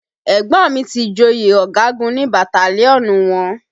Ẹ̀gbọ́n mi ti joyè ọ̀gagun ní bataliọnú wọn